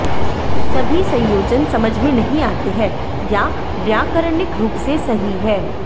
सभी संयोजन समझ में नहीं आते हैं या व्याकरणिक रूप से सही हैं